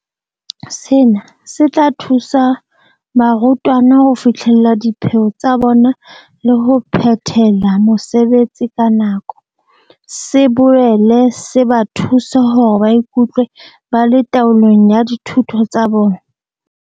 Sena se tla thusa barutwana ho fihlella dipheo tsa bona le ho phethela mosebetsi ka nako, se boele se ba thuse hore ba ikutlwe ba le taolong ya dithuto tsa bona.